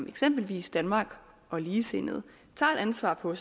eksempelvis danmark og ligesindede tager et ansvar på